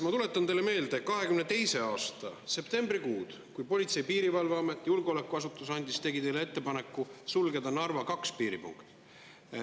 Ma tuletan teile meelde 2022. aasta septembrikuud, kui Politsei‑ ja Piirivalveamet, julgeolekuasutus, tegi teile ettepaneku sulgeda Narva 2 piiripunkt.